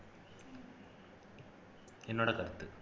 என்னோட கருத்து